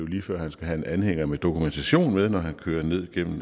lige før han skal have en anhænger med dokumentation med når man kører ned gennem